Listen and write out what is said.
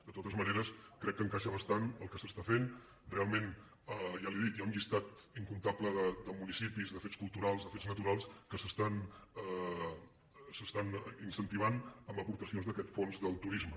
de totes maneres crec que hi encaixa bastant el que s’està fent realment ja li ho he dit hi ha un llistat incomptable de municipis de fets culturals de fets naturals que s’estan incentivant amb aportacions d’aquest fons per al turisme